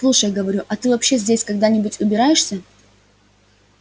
слушай говорю а ты вообще здесь когда-нибудь убираешься